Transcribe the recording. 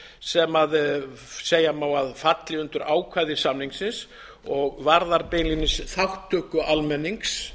sem segja má að falli undir ákvæði samningsins og varðar beinlínis þátttöku almennings